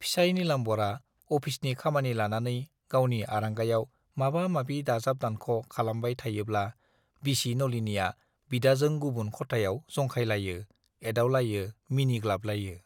फिसाइ नीलाम्बरआ अफिसनि खामानि लानानै गावनि आरांगायाव माबा-माबि दाजाब दानख' खालामबाय थायोब्ला बिसि नलिनीया बिदाजों गुबुन खथायाव जंखायलायो, एदावलायो, मिनिग्लाबलायो।